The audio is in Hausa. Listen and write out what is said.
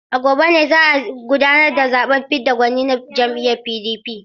A gobe ne za a gudanar da zaɓen fidda gwani na jam'iyyar PDP.